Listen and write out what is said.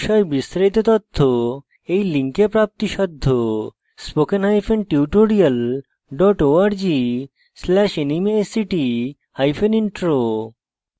এই বিষয়ে বিস্তারিত তথ্য এই লিঙ্কে প্রাপ্তিসাধ্য spoken hyphen tutorial dot org slash nmeict hyphen intro